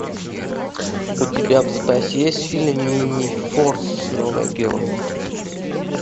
у тебя в запасе есть фильм минифорс новые герои